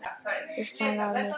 Þrýsti henni að mér.